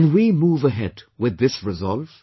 Can we move ahead with this resolve